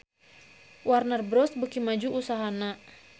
Warner Bros beuki maju usahana